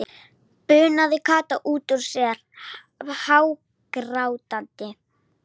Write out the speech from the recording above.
Það heyrist lágróma nei úr garðstofunni.